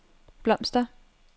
blomster